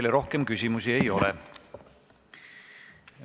Teile rohkem küsimusi ei ole.